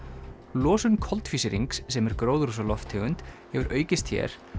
losun koltvísýrings sem er gróðurhúsalofttegund hefur aukist hér